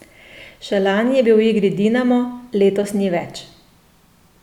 Še lani je bil v igri Dinamo, letos ni več.